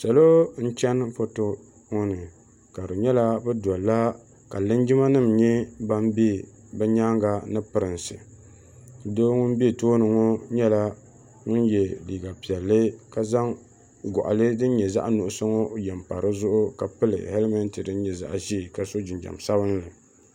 Salo n-chani foto ŋɔ ni ka linjimanima nyɛ ban be bɛ nyaaŋa ni Pirinsi doo ŋun be tooni ŋɔ nyɛla ŋun ye liiga piɛlli ka zaŋ gɔɣili din nyɛ zaɣ'nuɣuso ŋɔ ye m-pa di zuɣu ka pili helimeti din nyɛ zaɣ'ʒee ka so jinjam sabinli.